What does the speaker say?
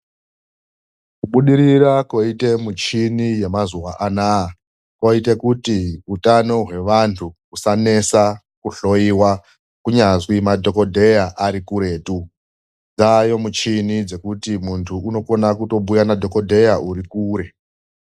Kubudirira koita michini yemazuva ano aya, koita kuti utano hwevantu usanesa kuhloyiwa kunyazwi madokodheya ari kuretu ,dzaayo muchini dzokuti muntu unokona kubhuya nadhokodheya uri kure.